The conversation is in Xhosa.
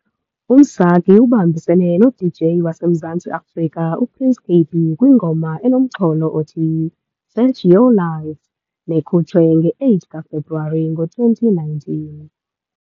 UMsaki ubambisene no-DJ waseMzantsi Afrika u-Prince Kaybee kwingoma enomxholo othi, "Fetch Your Life", nekhutshwe nge-8 kaFebruwari ka-2019.